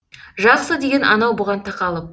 жақсы деген анау бұған тақалып